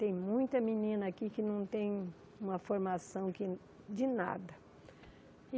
Tem muita menina aqui que não tem uma formação que de nada.